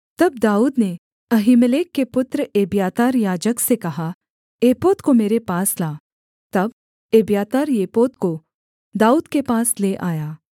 तब दाऊद ने अहीमेलेक के पुत्र एब्यातार याजक से कहा एपोद को मेरे पास ला तब एब्यातार एपोद को दाऊद के पास ले आया